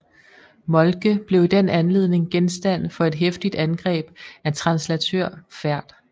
Moltke blev i den anledning genstand for et heftigt angreb af translatør Ferd